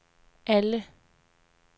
alle